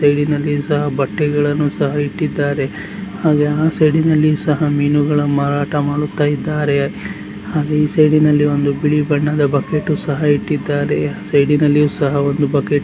side ನಲ್ಲಿಯು ಸಹ ಬಟ್ಟೆಗಳ್ಳನ್ನು ಸಹ ಇಟ್ಟಿದ್ದಾರೆ ಹಾಗೆ ಆ ಸೈಡ್ ನಲ್ಲಿಯು ಸಹ ಮೀನುಗಳ ಮಾರಾಟ ಮಾಡುತ್ತಾ ಇದ್ದಾರೆ ಹಾಗೆ ಈ ಸೈಡ್ ನಲ್ಲಿ ಒಂದು ಬಿಳಿ ಬಣ್ಣದ ಬಕೆಟ್ ಸಹ ಇಟ್ಟಿದ್ದಾರೆ ಸೈಡ್ ನಲ್ಲಿಯು ಸಹ ಒಂದು ಬಕೆಟ್ --